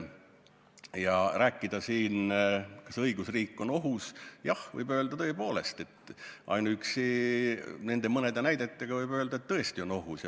Ja kui rääkida siin, kas õigusriik on ohus, siis jah, võib tõepoolest ainuüksi nende mõne näite varal öelda, et tõesti on ohus.